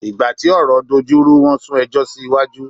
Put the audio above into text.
Ìgbà tí ọ̀rọ̀ dojú rú wọn sún ẹjọ́ sí iwájú.